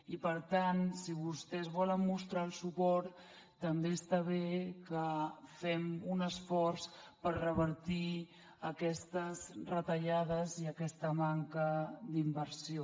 i per tant si vostès volen mostrar el suport també està bé que fem un esforç per revertir aquestes retallades i aquesta manca d’inversió